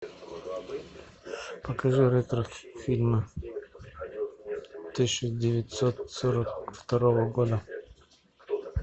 покажи ретро фильмы тысяча девятьсот сорок второго года